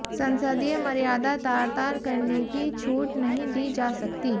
संसदीय मर्यादा तार तार करने की छूट नहीं दी जा सकती